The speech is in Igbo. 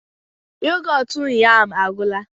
Yoghurt ụnyaahụ agwụla